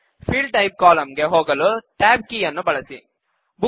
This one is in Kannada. ಫೀಲ್ಡ್ ಟೈಪ್ ಕಾಲಂ ಗೆ ಹೋಗಲು ಟ್ಯಾಬ್ ಕೀ ಯನ್ನು ಬಳಸಿ